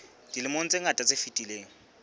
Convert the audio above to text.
dilemong tse ngata tse fetileng